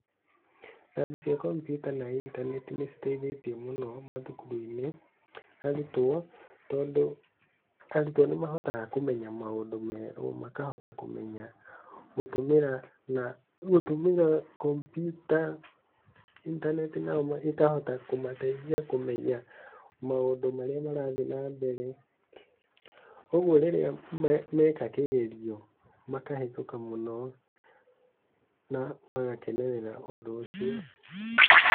Rabu cia kompiuta na intaneti nĩ citeithĩtie mũno mathukuru-inĩ arutwo, tondũ arutwo nĩ mahotaga kũmenya maũndũ merũ, makahota kũmenya gũtũmĩra na gũtũmĩra kompiuta, intaneti nayo ĩkahota kũmateithia kũmenya maũndũ marĩa marathiĩ na mbere, ũguo rĩrĩa meka kĩgerio, makahĩtũka mũno na magakenerera ũndũ ũcio.